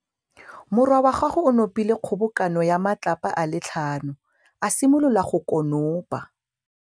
Morwa wa gagwe o nopile kgobokanô ya matlapa a le tlhano, a simolola go konopa.